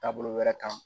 Taabolo wɛrɛ kan